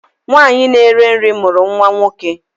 Nwanyị na-ere nri mụrụ nwa nwoke